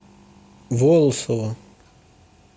волосово